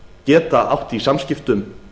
geta átt í samskiptum